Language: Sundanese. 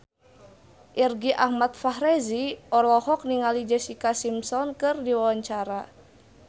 Irgi Ahmad Fahrezi olohok ningali Jessica Simpson keur diwawancara